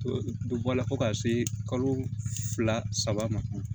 Dɔ bɔ la fo ka se kalo fila saba ma